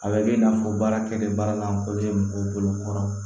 A bɛ kɛ i n'a fɔ baarakɛden baara lankolon ye mɔgɔw bolo kɔrɔ